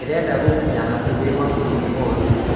Ndĩrenda gũkinya hakuhĩ mabũrũri mothe